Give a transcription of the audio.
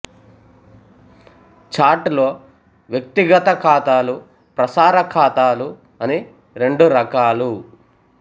chat లో వ్యక్తిగత ఖాతాలు ప్రసార ఖాతాలు అని రెండురకాలు